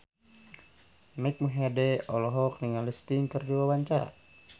Mike Mohede olohok ningali Sting keur diwawancara